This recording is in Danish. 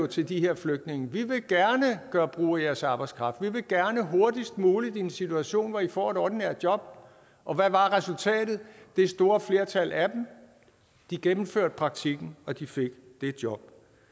til de her flygtninge vi vil gerne gøre brug af jeres arbejdskraft vi vil gerne hurtigst muligt i en situation hvor i får et ordinært job og hvad var resultatet det store flertal af dem gennemførte praktikken og de fik det job